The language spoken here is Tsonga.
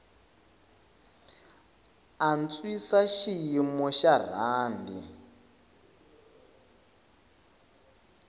antswisa xiyimo xa rhandi